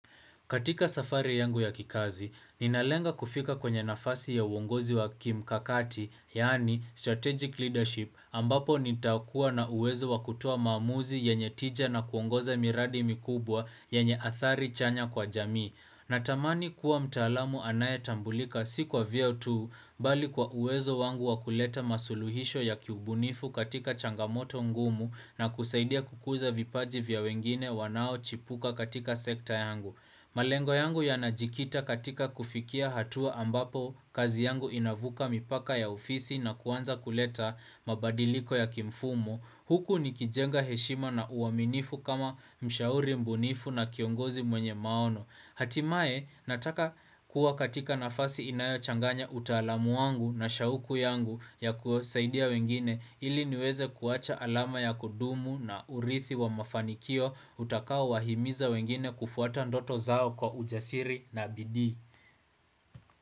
Katika safari yangu ya kikazi, ninalenga kufika kwenye nafasi ya uongozi wa kimkakati, yaani strategic leadership, ambapo nitakuwa na uwezo wa kutoa maamuzi yenye tija na kuongoza miradi mikubwa yenye athari chanya kwa jamii. Natamani kuwa mtaalamu anayetambulika si kwa vyeo tu, bali kwa uwezo wangu wa kuleta masuluhisho ya kiubunifu katika changamoto ngumu na kusaidia kukuza vipaji vya wengine wanaochipuka katika sekta yangu. Malengo yangu yanajikita katika kufikia hatua ambapo kazi yangu inavuka mipaka ya ofisi na kuanza kuleta mabadiliko ya kimfumo. Huku nikijenga heshima na uaminifu kama mshauri mbunifu na kiongozi mwenye maono. Hatimaye nataka kuwa katika nafasi inayochanganya utaalamu wangu na shauku yangu ya kusaidia wengine ili niweze kuacha alama ya kudumu na urithi wa mafanikio. Utakao wahimiza wengine kufuata ndoto zao kwa ujasiri na bidii.